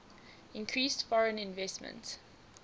increased foreign investment